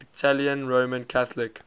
italian roman catholic